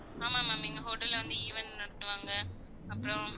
ஆமா ma'am எங்க hotel ல வந்து event லா நடத்துவாங்க அப்புறம்